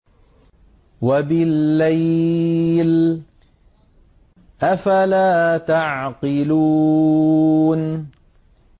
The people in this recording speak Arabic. وَبِاللَّيْلِ ۗ أَفَلَا تَعْقِلُونَ